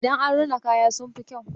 Idan an rina kaya sun fi kyau.